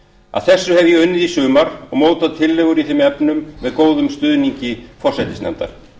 að þessu hef ég unnið í sumar og mótað tillögur í þeim efnum með góðum stuðningi forsætisnefndar